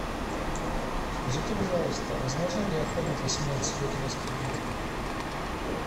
скажите пожалуйста возможно ли оформить в восемнадцать лет у вас кредит